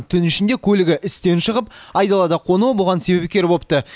түн ішінде көлігі істен шығып айдалада қонуы бұған себепкер бопты